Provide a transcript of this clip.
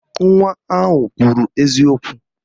Nwa ahụ kwuru eziokwu